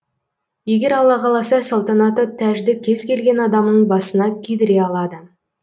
егер алла қаласа салтанатты тәжді кез келген адамның басына кидіре алады